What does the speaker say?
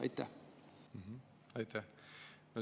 Aitäh!